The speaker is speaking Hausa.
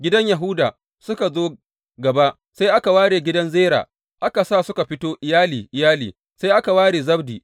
Gidan Yahuda suka zo gaba, sai aka ware gidan Zera, aka sa suka fito iyali iyali, sai aka ware Zabdi.